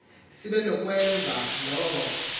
sibe nokwenza loo